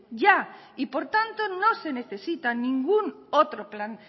ya y por tanto no se necesita ningún otro plan